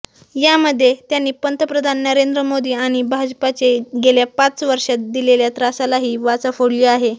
यामध्ये त्यांनी पंतप्रधान नरेंद्र मोदी आणि भाजपाने गेल्या पाच वर्षांत दिलेल्या त्रासालाही वाचा फोडली आहे